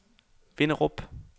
Vinderup